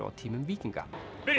á tímum víkinga